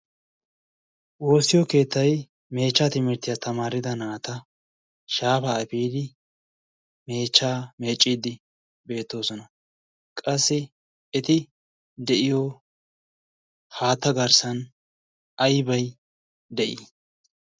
Woossiyo keettay meechcha timirttiya tamaarida naata shaafa efiidi meeccidi beettoosna. qassi eti de'iyo haatta garssan aybbay de'i?